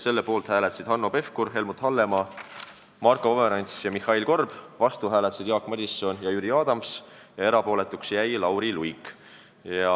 Selle poolt hääletasid Hanno Pevkur, Helmut Hallemaa, Marko Pomerants ja Mihhail Korb, vastu Jaak Madison ja Jüri Adams ja erapooletuks jäi Lauri Luik.